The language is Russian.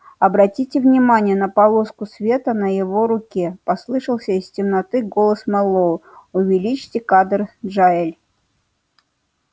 обратите внимание на полоску света на его руке послышался из темноты голос мэллоу увеличьте кадр джаэль